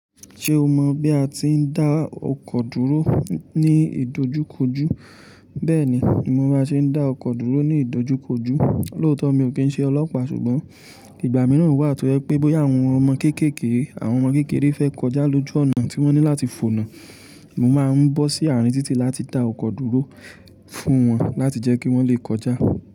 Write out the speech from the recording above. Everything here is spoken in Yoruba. Ṣé o mọ bí a ti ń dá ọkọ̀ dúró ní ìdojúkojú? Bẹ́ẹ̀ ni, mo máa ń ṣe dá ọkọ̀ dúró ní ìdojúkojú. Lóòótọ́ mi ò kí ń ṣe ọlọ́pàá ṣùgbọ́n ìgbà mìíràn wà tó jẹ́ pé bóyá àwọn ọmọ kéékèèké, àwọn ọmọ kékeré fẹ́ kọjá lójú ọ̀nà tí wọ́n ní láti fònà, mo máa ń bọ́ sí àárín títì láti dá ọkọ̀ dúró fún wọn láti jẹ́ kí wọ́n lè kọjá.